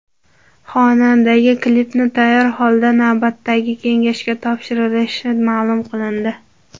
Xonandaga klipni tayyor holda navbatdagi kengashga topshirilishi ma’lum qilindi.